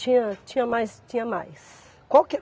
Tinha tinha mais, tinha mais. Qual que é